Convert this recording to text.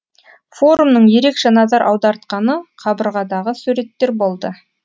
форумның ерекше назар аудартқаны қабырғадағы суреттер болды